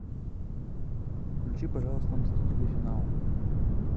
включи пожалуйста мстители финал